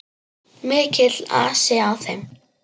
Mikill asi á þeim.